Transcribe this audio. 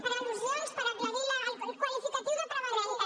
per al·lusions per aclarir el qualificatiu de preventiva